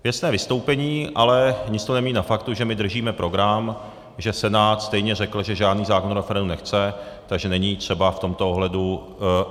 Věcné vystoupení, ale nic to nemění na faktu, že my držíme program, že Senát stejně řekl, že žádný zákon o referendu nechce, takže není třeba v tomto ohledu...